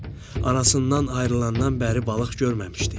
Arasından ayrılandan bəri balıq görməmişdi.